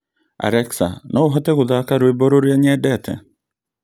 Alexa no ũhote gũthaka rwĩmbo ruria nyendete?